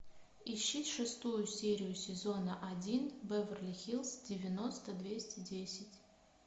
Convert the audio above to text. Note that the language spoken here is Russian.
ищи шестую серию сезона один беверли хиллз девяносто двести десять